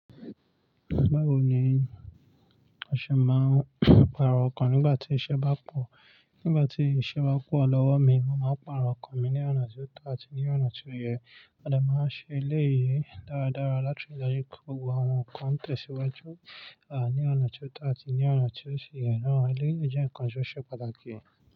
Báwo ni o ṣe máa ń pàrọ̀ ọkọ̀ nígbà tí iṣẹ́ bá pọ̀? Nígbà tí iṣẹ́ bá pọ̀ lọ́wọ́ mi, mo máa pàrọ̀ ọkan mi ní ọ̀nà tí ó to àti ní ọ̀nà tí ó yẹ. A lè máa ṣe eléyìí dáradára láti rí i pé gbogbo àwọn nǹkan ń tẹ̀síwájú, à ní ọ̀nà tí ó to àti ní ọ̀nà tí ó ṣìyẹ́. Awon ona to si jẹ́ ǹkan tó ṣe pàtàkì.